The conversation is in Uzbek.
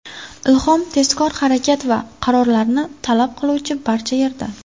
Ilhom tezkor harakat va qarorlarni talab qiluvchi barcha yerda.